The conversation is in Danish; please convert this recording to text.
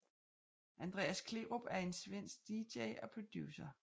Andreas Kleerup er en svenske DJ og producer